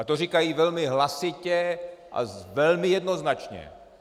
A to říkají velmi hlasitě a velmi jednoznačně.